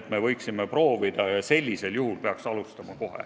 et me võiksime proovida, ja sellisel juhul peaks alustama kohe.